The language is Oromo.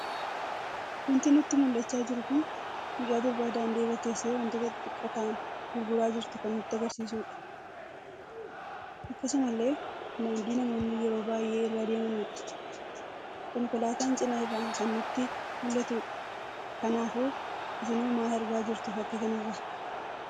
Wanti nutti muldhacha jiru kun mucaa durbaa daandii irraa teesse wantoota xixxiqqoo ta'an gurguraa kan jirtu kan nutti agarsiisuudha. Akkasumallee, daandii namoonni yeroo baay'ee irra deemanidha. Konkoolaatan cina irraan kan nutti muldhatudha. kanaafuu isino mal argaa jirtu fakkii kanarra?